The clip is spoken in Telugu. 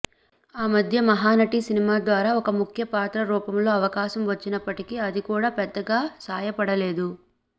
ఆ మధ్య మహానటి సినిమా ద్వారా ఒక ముఖ్య పాత్ర రూపంలో అవకాశం వచ్చినప్పటికీ అదికూడా పెద్దగా సాయపడలేదు